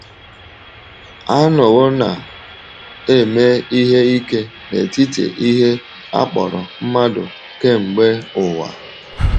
A nọwo na eme ihe ike n’etiti ihe a kpọrọ mmadụ kemgbe ụwa.